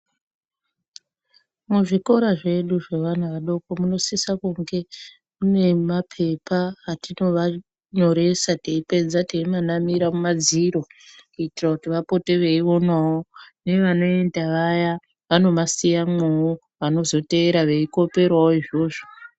Muzvikora zvedu zvevana vadoko munosisa kunge mune mapepa atinovanyoresa teipedza teimanamira mumadziro. Kuitira kuti vapote veionavo nevanoenda vaya vanomasiyamwovo vanozoteera veikoperavo izvozvo.